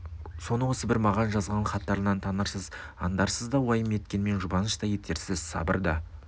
соны осы бір маған жазған хаттарынан танырсыз андарсыз да уайым еткенмен жұбаныш та етерсіз сабыр да